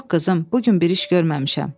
Yox, qızım, bu gün bir iş görməmişəm.